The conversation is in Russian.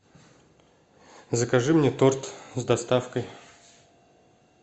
закажи мне торт с доставкой